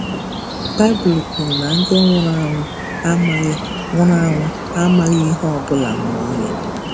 Baịbụl kwuru na ndị nwụrụ anwụ “amaghị nwụrụ anwụ “amaghị ihe ọ bụla ma ọlị.”